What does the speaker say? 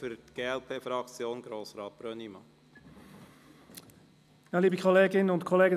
Für die glp-Fraktion hat Grossrat Brönnimann das Wort.